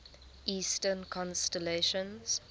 eastern constellations